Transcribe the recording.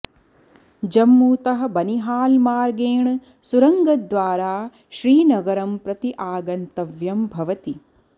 जम्मूतः बनिहाल् मार्गेण सुरङ्गद्वारा श्रीनगरं प्रति आगन्तव्यं भवति